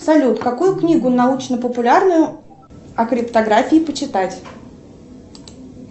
салют какую книгу научно популярную о криптографии почитать